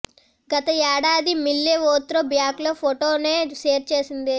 గత ఏడాది మిల్లే ఓ త్రో బ్యాక్ ఫోటోనే షేర్ చేసింది